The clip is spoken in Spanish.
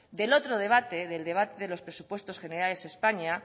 del otro debate del debate de los presupuestos generales